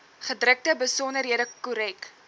gedrukte besonderhede korrek